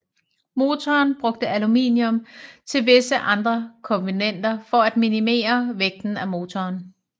Motoren brugte aluminium til visse andre komponenter for at minimere vægten af motoren